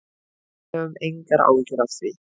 Við höfum engar áhyggjur af því.